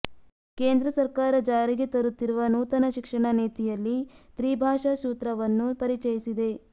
ಕೇಂದ್ರ ಸರ್ಕಾರ ಜಾರಿಗೆ ತರುತ್ತಿರುವ ನೂತನ ಶಿಕ್ಷಣ ನೀತಿಯಲ್ಲಿ ತ್ರಿಭಾಷಾ ಸೂತ್ರವನ್ನು ಪರಿಚಯಿಸಿದೆ